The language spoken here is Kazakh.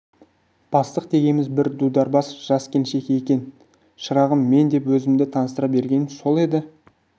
бастық дегеніміз бір дудар бас жас келіншек екен шырағым мен деп өзімді таныстыра бергенім сол еді